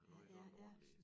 Har var jo også en ordentlig én